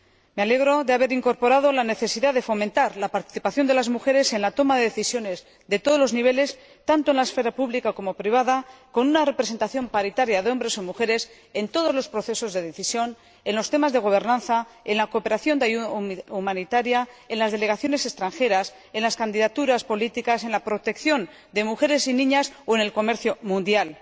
Me alegro de haber incorporado la necesidad de fomentar la participación de las mujeres en la toma de decisiones a todos los niveles, tanto en la esfera pública como en la privada, con una representación paritaria de hombres y mujeres en todos los procesos de decisión, en los temas de gobernanza, en la cooperación y la ayuda humanitaria, en las delegaciones extranjeras, en las candidaturas políticas, en la protección de mujeres y niñas o en el comercio mundial.